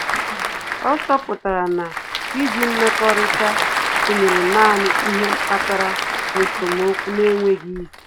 Ọ́ chọ́pụ̀tárà na íjí mmekọrịta tụnyere nāànị́ ihe kpatara esemokwu n’énwéghị́ isi.